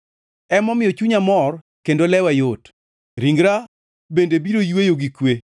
Emomiyo chunya mor kendo lewa yot; ringra bende biro yweyo gi kwe,